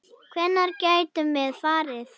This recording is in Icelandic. Hvenær getum við farið?